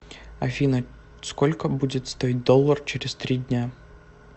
афина сколько будет стоить доллар через три дня